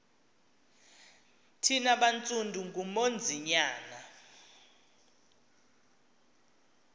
thina bantsundu ngunonzinyana